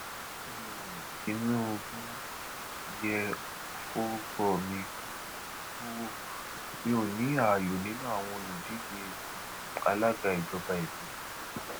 um tinúbú ẹ yéé forúkọ mi purọ o mi ò ní ààyò nínú àwọn olùdíje um alága ìjọba ìbílẹ